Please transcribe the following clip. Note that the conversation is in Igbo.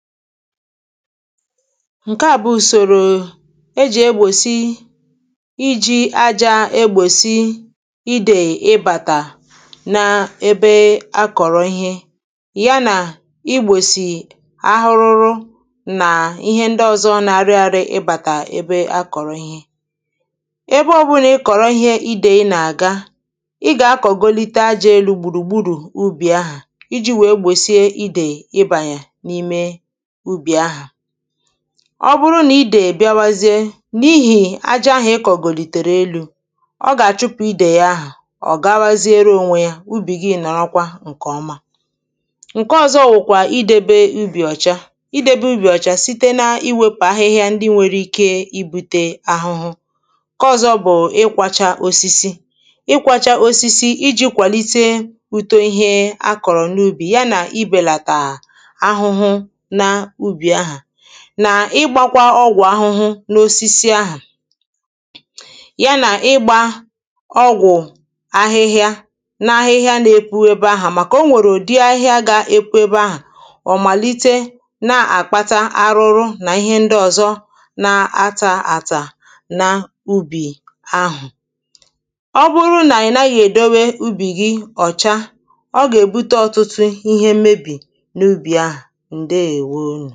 Ǹkeà bụ ùsòrò ejì egbòsi, ijì ajā egbòsi idè ịbàtà n’ebe akọ̀rọ̀ ihe ya nà igbòsì arụrụ na ihe ndị ọzọ̄ na-arị ārị̄ ịbàtà ebe akọ̀rọ̀ ihe Ebe ọbụ̄là ị kọ̀rọ̀ ihe idèi na-àga, ị gà-akọ̀golite ajā elū gbùrù gburù ubì ahà ijī wèe gbòchie idèì ịbànyè ime ubì ahà Ọbụrụ nà idèì bịawezie n’ihì ājā ahà ịkọ̀gòlìtèrè elū, ọ gà-àchụpụ̄ idèì ahà, ọ gawaziere onwe yā, ubì gị nọ̀rọkwa ǹkè ọma Ǹke ọ̀zọ wụ̀kwà idēbē ubì ọ̀cha Idēbē ubì ọ̀cha site n’iwēpù ahịhịa ndị nwērē ikē ibūtē ahụhụ Ǹke ọ̀zọ bụ̀ ịgbāchā osisi Ịkwāchā osisi ijī wèe kwàlite ūtō ihe a kọ̀rọ̀ n’ubì ya nà ibèlàtà ahụhụ na ubì ahà Na igbakwa ọgwụ ahụhụ n’osisi aha Ya nà ịgbā ọgwụ̀ ahịhịa na-ahịhịa na-epu ebe ahà, màkà onwèrè ụ̀dịrị ahịhịa gā-ēpū ebē ahà, ọ̀màlite na-àkpata arụrụ na ihe ndị ọ̀zọ na-atā àtà na ubì ahụ̀̀ Ọbụrụ nà ị̀ naghị̄ èdebe ubì gị ọ̀cha, ọ gà-èbute ọtụtụ ihe mmebì n’ubì ahà ndè:wó